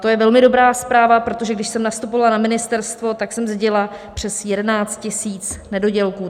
To je velmi dobrá zpráva, protože když jsem nastupovala na ministerstvo, tak jsem zdědila přes 11 tisíc nedodělků.